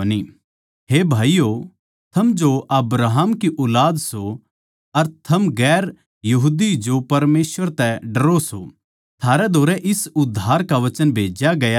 हे भाईयो थम जो अब्राहम की ऊलाद सो अर थम जो परमेसवर तै डरो सो थारै धोरै इस उद्धार का वचन भेज्या गया सै